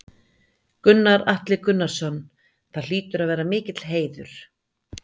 Gunnar Atli Gunnarsson: Það hlýtur að vera mikill heiður?